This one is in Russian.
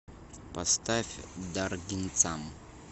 поставь даргинцам